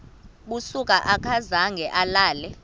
busuku akazange alale